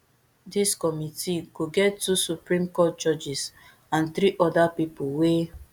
dis committee go get two supreme court judges and three oda pipo wey